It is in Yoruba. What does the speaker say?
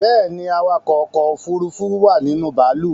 Bẹ́ẹ̀ni, awakọ̀ ọkọ̀ òfurufú wà ninú bàálù